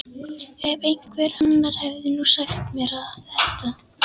Ef einhver annar hefði nú sagt mér þetta!